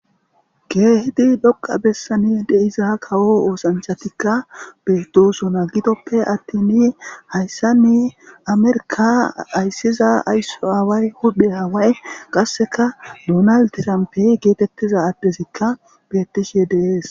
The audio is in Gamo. geehidi dhoqa bessani deiza kawo oosanchatikka beedosona gidoppe attini hayssanne amerka ayssiza aysso aaway hudhe haway qasseka duunal tirampe geetettiza addezikka bettishe deees